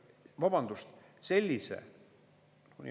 Vabandust!